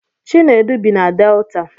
Chinedu bi na Delta